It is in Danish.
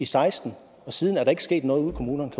seksten og siden er der ikke sket noget ude i kommunerne